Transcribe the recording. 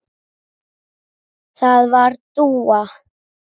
Það var Dúa.